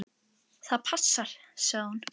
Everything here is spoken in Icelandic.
Það passar, sagði hún.